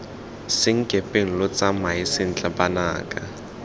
senkepeng lo tsamae sentle banaka